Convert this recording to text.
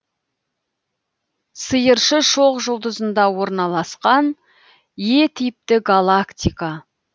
сиыршы шоқжұлдызында орналасқан е типті галактика